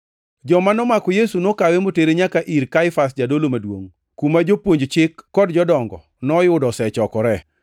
Joma nomako Yesu nokawe motere nyaka ir Kaifas jadolo maduongʼ, kuma jopuonj chik kod jodongo noyudo osechokoree.